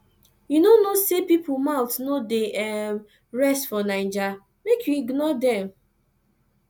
you no know sey pipo mouth no dey rest for naija make you ignore dem